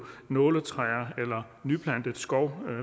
nåletræer eller nyplantet skov